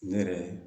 Ne yɛrɛ